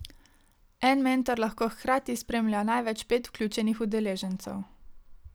En mentor lahko hkrati spremlja največ pet vključenih udeležencev.